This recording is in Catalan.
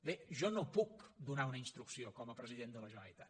bé jo no puc donar una instrucció com a president de la generalitat